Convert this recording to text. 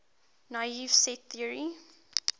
naive set theory